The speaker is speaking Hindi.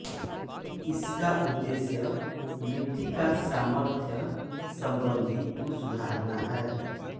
इसका उद्देश्य मिट्टी का सामर्थ्य संबंधी गुण सुधारना है